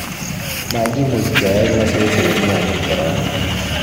Makiimuch keyai masoesi komye amuu Korona